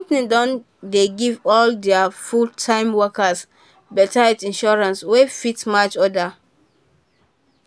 di company dey give all dia full-time workers better health insurance wey fit match others.